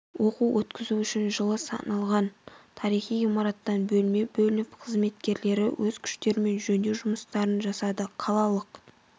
оқу өткізу үшін жылы салынған тарихи ғимараттан бөлме бөлініп қызметкерлері өз күштерімен жөндеу жұмыстарын жасады қалалық